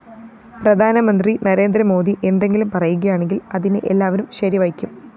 പ്രധാനമന്ത്രി നരേന്ദ്ര മോദി എന്തെങ്കിലും പറയുകയാണെങ്കില്‍ അതിനെ എല്ലാവരും ശരിവയ്ക്കും